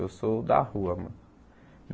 Eu sou da rua, mano.